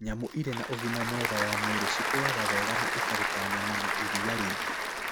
Nyamũ irĩ na ũgima mwega wa mwĩrĩ ciakũraga wega na ikaruta nyama na iria nyingĩ.